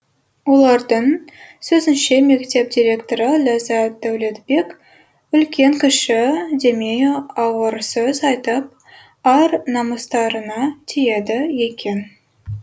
олардың сөзінше мектеп директоры ләззат дәулетбек үлкен кіші демей ауыр сөз айтып ар намыстарына тиеді екен